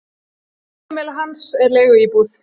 Heimili hans er leiguíbúð.